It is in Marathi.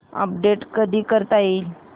अपडेट कधी करता येईल